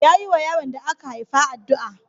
Ya yiwa yaron da aka haifa addu'a.